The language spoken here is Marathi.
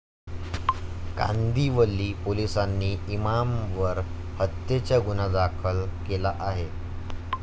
कांदिवली पोलिसांनी इमामवर हत्येचा गुन्हा दाखल केला आहे.